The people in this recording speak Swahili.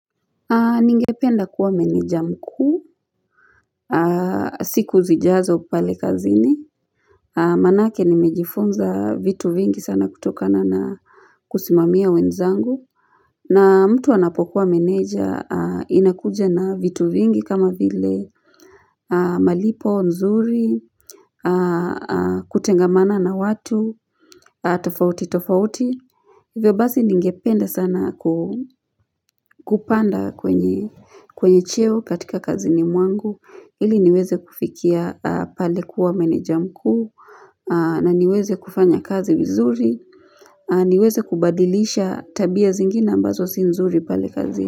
Ningependa kuwa meneja mkuu, siku zijazo pale kazini, manake nimejifunza vitu vingi sana kutokana na kusimamia wenzangu. Na mtu anapokuwa meneja inakuja na vitu vingi kama vile malipo, nzuri, kutengamana na watu, tofauti tofauti. Hivyo basi ningepende sana kupanda kwenye cheo katika kazini mwangu, ili niweze kufikia pale kuwa meneja mkuu, na niweze kufanya kazi vizuri, niweze kubadilisha tabia zingine ambazo si nzuri pale kazi.